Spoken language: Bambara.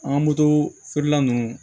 An ka moto feerela ninnu